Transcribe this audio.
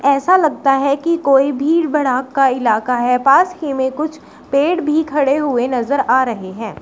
ऐसा लगता है कि कोई भीड़ भड़ाक का इलाका है पास की में कुछ पेड़ भी खड़े हुए नजर आ रहे हैं।